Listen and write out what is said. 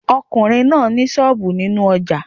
ọkùnrin náà ni sọ́ọ̀bù nínú ojà